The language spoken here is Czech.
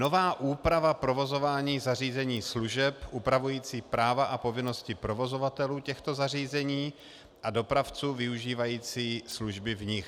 nová úprava provozování zařízení služeb upravující práva a povinnosti provozovatelů těchto zařízení a dopravců využívajících služby v nich;